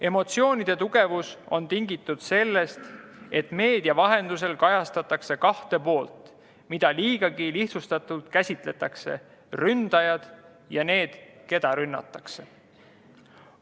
Emotsioonide tugevus on tingitud sellest, et meedia vahendusel kajastatakse kahte poolt, mida käsitletakse liigagi lihtsustatult: ründajad ja need, keda rünnatakse.